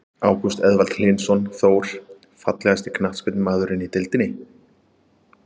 Ágúst Eðvald Hlynsson, Þór.Fallegasti knattspyrnumaðurinn í deildinni?